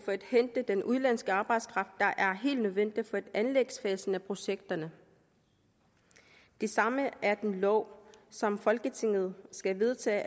at hente den udenlandske arbejdskraft der er helt nødvendig for anlægsfasen af projekterne det samme er den lov som folketinget skal vedtage